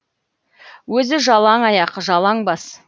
өзі жалаң аяқ жалаң бас